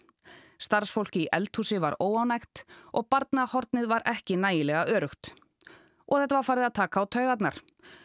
starfsfólk í eldhúsi var óánægt og barnahornið var ekki nægilega öruggt og þetta var farið að taka á taugarnar